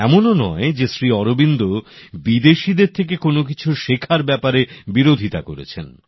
এমনও নয় যে শ্রী অরবিন্দ বিদেশিদের থেকে কোনো কিছু শেখার ব্যাপারে বিরোধিতা করেছেন